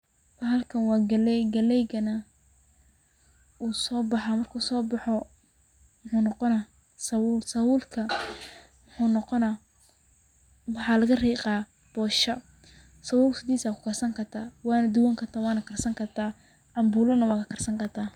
Bahalkan waa galey, galeygana wuu soo baxa marku soo boxona muxuu noqona sabuul, sabuulka maxa laga riiqa bosha sabuul sidis aa kukarsan kartaa, wana dubani kartaa wana karsan karta, cambuula na wa kakarsan kartaa